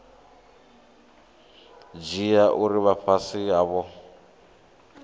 dzhia uri vha fhasi havho